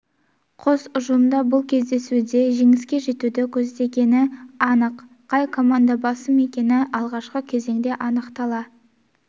қос ұжым да бұл кездесуде жеңіске жетуді көздегені анық қай команда басым екені алғашқы кезеңде анықтала